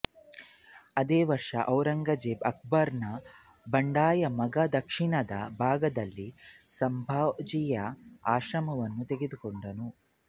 ಅದೇ ವರ್ಷ ಔರಂಗಜೇಬ ಅಕ್ಬರ್ನ ಬಂಡಾಯ ಮಗ ದಕ್ಷಿಣದ ಭಾಗದಲ್ಲಿ ಸಂಭಾಜಿಯ ಆಶ್ರಮವನ್ನು ತೆಗೆದುಕೊಂಡ